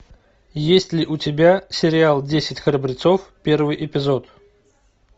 есть ли у тебя сериал десять храбрецов первый эпизод